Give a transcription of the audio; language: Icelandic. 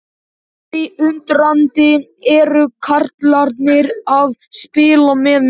Spyr því undrandi: Eru karlarnir að spila með mig?